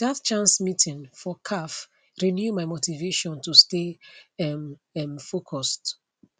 that chance meeting for caf renew my motivation to stay um um focused